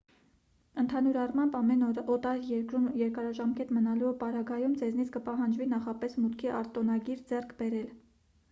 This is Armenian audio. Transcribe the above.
ընդհանուր առմամբ ամեն օտար երկրում երկարաժամկետ մնալու պարագայում ձեզնից կպահանջվի նախապես մուտքի արտոնագիր ձեռք բերել